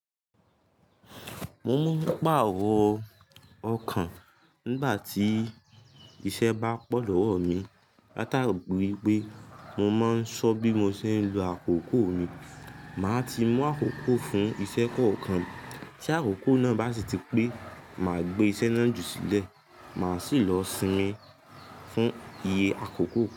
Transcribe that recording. Mo máa ń pàrọ̀ ọkàn nígbà tí iṣẹ́ bá pọ̀ lọ́wọ́ mi látàrí pé mo máa ń ṣọ́ bí mo ṣe ń lo àkókò mi. Máa ti mú àkókò fún iṣẹ́ kọ̀ọ̀kan. Tí àkókò náà bá sì ti pé, màá gbé iṣẹ́ náà ju sílẹ̀, màá sì lọ sinmi fún iye àkókò.